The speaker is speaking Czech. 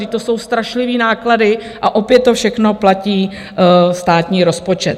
Vždyť to jsou strašlivé náklady a opět to všechno platí státní rozpočet.